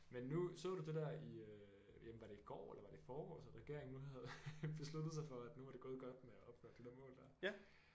Men nu så du det der i øh jamen var det i går eller var det i forgårs at regeringen nu havde besluttet sig for at nu var det gået godt med at opfylde de der mål der